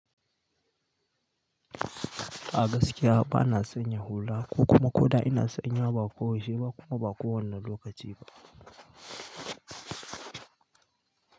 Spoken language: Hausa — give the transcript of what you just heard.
A gaskiya ba na sanya hula, ko kuma ko da ina sanya ba, ko yaushe ba kuma ba kowanna lokaci ba.